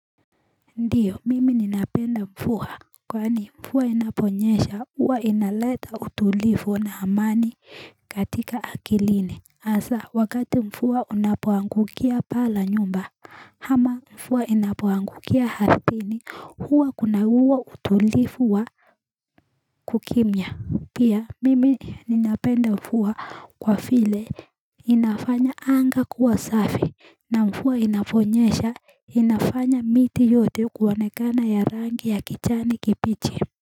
Ndiyo mimi ninapenda mfuwa kwani mfuwa inaponyesha huwa inaleta utulifu na amani katika akiline asa wakati mfuwa unapoangukia pala nyumba hama mfuwa inapoangukia hartini huwa kuna huwa utulifu wa kukimya pia mimi ninapenda mfuwa kwa file inafanya anga kuwa safi na mfua inafonyesha inafanya miti yote kuwanekana ya rangi ya kichani kipichi.